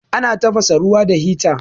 Ana tafasa ruwa da hita.